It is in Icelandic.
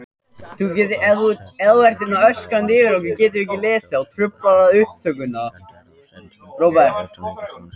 Forsetaritari, ráðuneytisstjórar og skrifstofustjórar í Stjórnarráði, sendiherrar og sendifulltrúar í utanríkisþjónustunni.